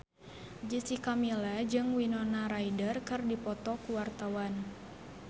Jessica Milla jeung Winona Ryder keur dipoto ku wartawan